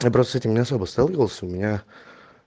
не бросайте меня с собой сталкивался у меня